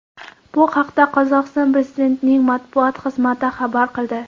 Bu haqda Qozog‘iston prezidentining matbuot xizmati xabar qildi .